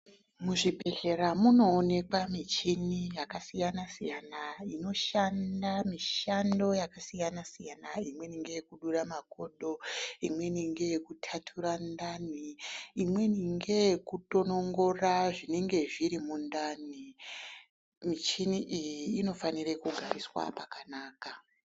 Muzvibhedhlera munoonekwa michini yakasiyana siyana inoshanda mishando yakasiyana siyana. Imweni ngeyekudura makodo, imweni ngeyekutatura ndani imweni ngeyekutonongora zvinenge zviri mundani. Michini iyi inofanire kugariswa pakanaka.